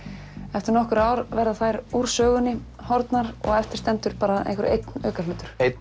eftir nokkur ár verða þær úr sögunni horfnar og eftir stendur bara einhver einn aukahlutur einn